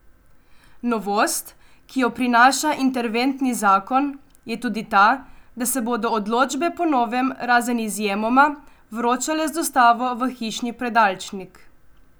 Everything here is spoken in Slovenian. Novost, ki jo prinaša interventni zakon, je tudi ta, da se bodo odločbe po novem, razen izjemoma, vročale z dostavo v hišni predalčnik.